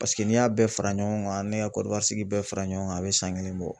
Paseke n'i y'a bɛɛ fara ɲɔgɔn kan ne ka Konowari sigi bɛɛ fara ɲɔgɔn kan a bi san kelen bɔ.